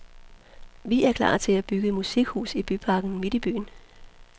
Vi er klar til at bygge musikhus i byparken midt i byen.